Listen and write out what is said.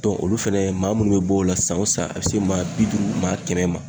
Dɔn olu fɛnɛ maa munnu be bɔ o la san o san a be se maa bi duuru maa kɛmɛ ma